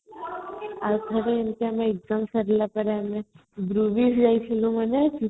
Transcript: ଆଉଥରେ ଏମିତି ଆମେ exam ସରିଲା ପରେ group ହେଇକି ଯାଉଥିଲୁ ମନେଅଛି|